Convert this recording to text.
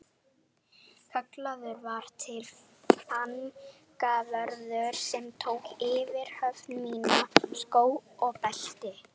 Kallaður var til fangavörður sem tók yfirhöfn mína, skó og belti.